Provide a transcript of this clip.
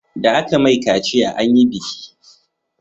Da aka mai kaciya anyi biki